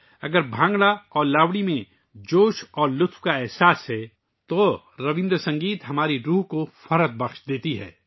اگر بھنگڑا اور لاوانی میں جوش اور مسرت کا احساس ہے تو رابندر سنگیت ہماری روح کو بلند کر دیتا ہے